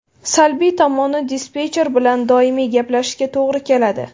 Salbiy tomoni dispetcher bilan doimiy gaplashishga to‘g‘ri keladi.